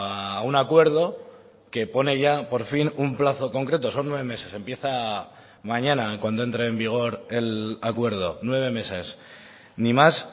a un acuerdo que pone ya por fin un plazo concreto son nueve meses empieza mañana cuando entre en vigor el acuerdo nueve meses ni más